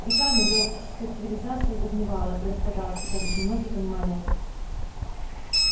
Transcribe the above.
веками галактическая цивилизация загнивала и распадалась хотя лишь немногие понимали это